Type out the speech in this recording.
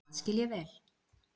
Það skil ég vel